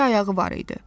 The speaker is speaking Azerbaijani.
İki ayağı var idi.